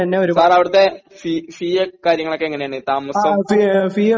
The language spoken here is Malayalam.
സർ അവടത്തെ ഫീ ഫീയൊക്കെ കാര്യങ്ങൾ ഒക്കെ എങ്ങനെയാണ് താമസം